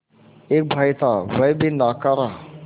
एक भाई था वह भी नाकारा